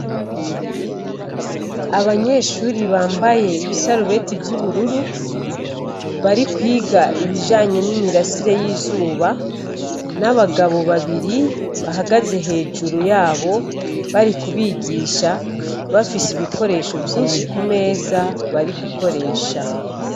Abanyeshure bambaye ibasurebeti vyubururu barikwiga ibijanye n'imirasire y’izuba, n'abagabo babiri bahagaze hejuru yabo bari kubigisha bafise ibikoresho vyinshi kumeza bari gukoresha.